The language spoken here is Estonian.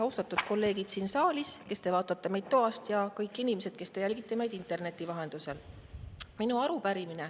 Austatud kolleegid siin saalis ja kes te vaatate meid toast, ja kõik inimesed, kes te jälgite meid interneti vahendusel!